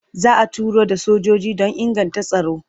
Za a turo da sojoji don inganta tsaro.